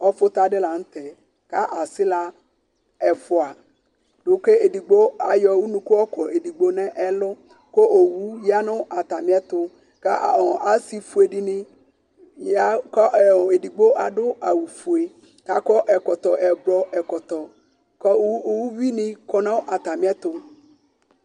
ɔfʊta dɩ lanʊtɛ, kʊ aɣlawoviu ɛfua , kʊ zdigbo ayɔ unuku yɔ kɔ edigbo nʊ ɛlʊ, kʊ owu ya nʊ atamiɛtʊ, kʊ asifuedɩ nɩ ya, edigbo adʊ awufue, kʊ akɔ ɛkɔtɔ avavlitsɛ, kʊ uwinɩ kɔ nʊ atamiɛtʊ